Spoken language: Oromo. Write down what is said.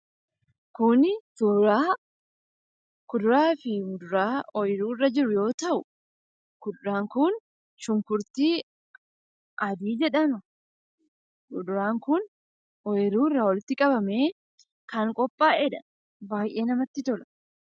Kuni suuraa kuduraa fi muduraa ooyiruu irra jiru yoo ta'u, kuduraan kun shunkurtii adii jedhama. Kuduraan kun ooyiruu irraa walitti qabamee kan qophaa'eedha. Baay'ee namatti tola.